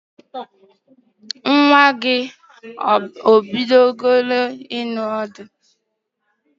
Nwa gi o bidole ịnọ ọdụ?